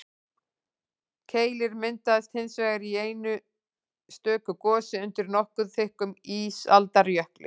keilir myndaðist hins vegar í einu stöku gosi undir nokkuð þykkum ísaldarjökli